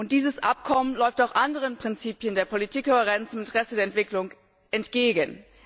Dieses Abkommen läuft auch anderen Prinzipien der Politikkohärenz im Interesse der Entwicklung entgegen.